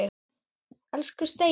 Elsku Steina.